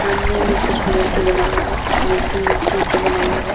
सामने में कुछ मूर्ति बनावल बा। मूर्ति मिट्टी से बनावल बा।